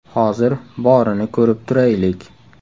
Hozir borini ko‘rib turaylik.